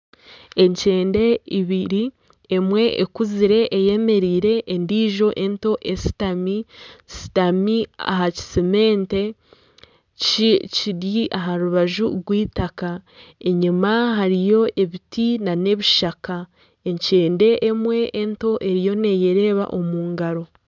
Ekyende ibiri emwe ekuzire eyemereire endijo ento eshutami aha kiseemente kiri aha rubaju rw'eitaaka enyima hariyo ebiti n'ebishaka, ekyende emwe ento eriyo neyereeba omu ngaro.